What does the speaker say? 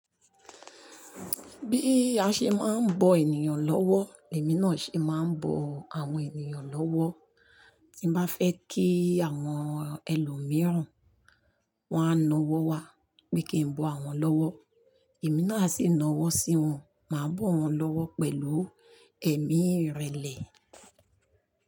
Bí a ṣe máa ń bọ ènìyàn lọ́wọ́, èmi náà ṣe máa ń bọ àwọn ènìyàn lọ́wọ́. Tí mo bá fẹ́ kí àwọn ẹlòmíràn wàá na ọwọ́ wa pé kí n bọ àwọn lọ́wọ́, èmi náà sì na ọwọ́ sí wọn, màá bọ wọn lọ́wọ́ pẹ̀lú ẹ̀mí ìrẹ̀lẹ̀